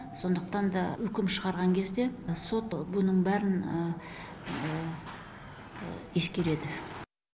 сондықтан да үкім шығарған кезде сот бұның бәрін ескереді